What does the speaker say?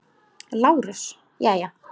LÁRUS: Jæja?